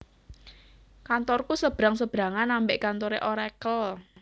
Kantorku sebrang sebrangan ambek kantore Oracle